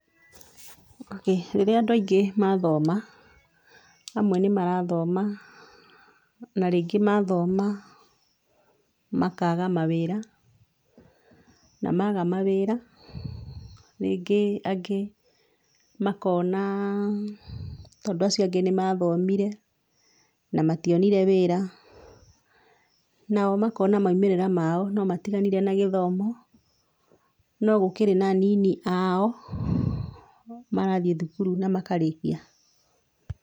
Rĩrĩa andũ aingĩ mathoma, amwe nĩ marathoma, na rĩngĩ mathoma makaga mawĩra, na maga mawĩra, rĩngĩ angĩ makona tondũ acio angĩ nĩ mathomire na mationire wĩra, nao makona moimĩrĩra mao no matiganire na gĩthomo, no gũkĩrĩ na anini ao marathiĩ thukuru na makarĩkia.